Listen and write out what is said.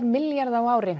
milljarða á ári